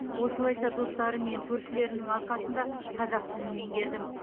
осылайша достарым мен көршілерімнің арқасында қазақ тілін меңгердім